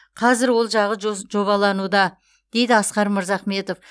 қазір ол жағы жобалануда дейді асқар мырзахметов